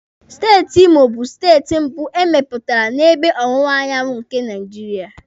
Steeti Imo bụ steeti mbụ emepụtara n'ebe ọwụwa anyanwụ nke Naijiria.